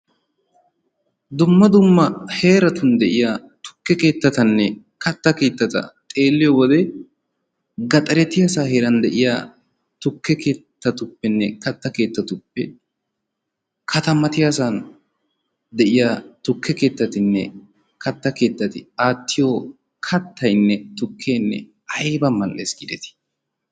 Dumma dumma heeratun de"iya tukke keettatanne katta keettata xeelliyo wode gaxaretiyasan heeran de"iya tukke keettatuppenne katta keettatuppe katamatiyasan tukke keettatinne katta keettati aattiyo kattayinne tukkeenne ayba mall"es gaadii.